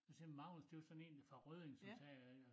Så siger han Magnus det var sådan én fra Rødding som sagde så